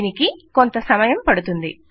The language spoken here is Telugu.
దీనికి కొంత సమయం పడుతుంది